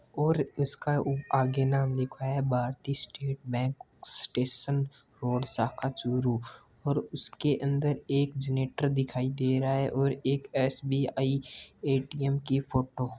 और इसका उ आगे नाम लिखा है Bharti state bank station road शाखा चूरू और उसके अंदर एक जनरेटर दिखाई दे रहा है और एक एस.बी.आई. ए.टी.एम. की फोटो --